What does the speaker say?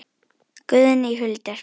Guðný Hulda spurði